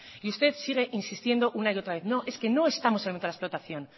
y usted sigue insistiendo una y otra vez no es que no estamos en otra explotación